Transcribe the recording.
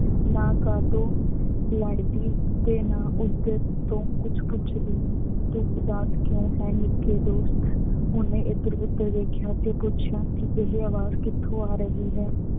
ਨਾ ਕਾਟੋਂ ਲੜਦੀ ਤੇ ਨਾ, ਉਹਦੇ ਤੋਂ ਕੁੱਛ ਪੁੱਛਦੀ, ਤੂੰ ਉਦਾਸ ਕਿਉਂ ਹੈ ਨਿੱਕੇ ਦੋਸਤ, ਉਹਨੇ ਇਧਰ ਉਧਰ ਦੇਖਿਆ ਤੇ ਪੁੱਛਿਆ ਕਿ ਇਹ ਆਵਾਜ਼ ਕਿਥੋਂ ਆ ਰਹੀ ਹੈ।